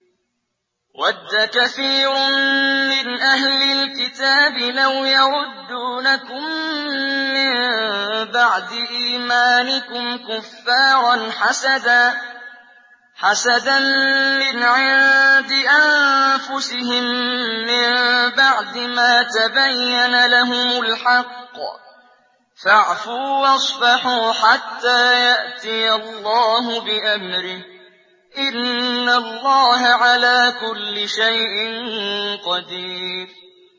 وَدَّ كَثِيرٌ مِّنْ أَهْلِ الْكِتَابِ لَوْ يَرُدُّونَكُم مِّن بَعْدِ إِيمَانِكُمْ كُفَّارًا حَسَدًا مِّنْ عِندِ أَنفُسِهِم مِّن بَعْدِ مَا تَبَيَّنَ لَهُمُ الْحَقُّ ۖ فَاعْفُوا وَاصْفَحُوا حَتَّىٰ يَأْتِيَ اللَّهُ بِأَمْرِهِ ۗ إِنَّ اللَّهَ عَلَىٰ كُلِّ شَيْءٍ قَدِيرٌ